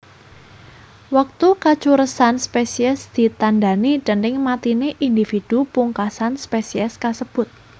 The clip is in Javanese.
Wektu kacuresan spesies ditandhani déning matiné indhividhu pungkasan spesies kasebut